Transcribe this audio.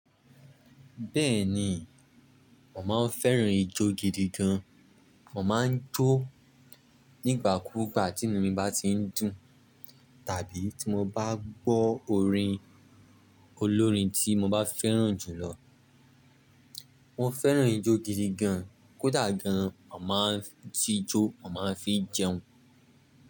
Bẹ́ẹ̀ni, mo màá ń féràn ijó gidi gan. Màá ń jó nígbà kúúgbà tí inú mi bá ti ń dùn, tàbí tí mo bá gbọ́ orin olórin tí mo bá fẹ́ràn jù lọ. Mo féràn ijó gidi gan, kódà gan, mo màá ń tijó, màá ń fi jẹun.